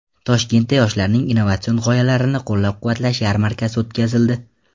Toshkentda yoshlarning innovatsion g‘oyalarini qo‘llab-quvvatlash yarmarkasi o‘tkazildi .